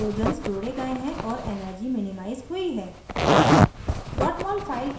structure पर hydrogens जोड़े गए हैं और energy मिनिमाइज़ हुई है